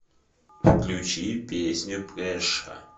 включи песню преша